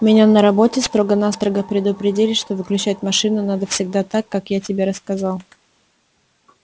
меня на работе строго-настрого предупредили что выключать машину надо всегда так как я тебе рассказал